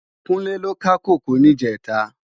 Kunle lò ká kókòó nijètá